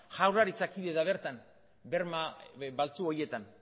jaurlaritza da kide da bertan berma baltzu horietan